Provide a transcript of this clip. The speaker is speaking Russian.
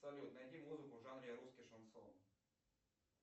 салют найди музыку в жанре русский шансон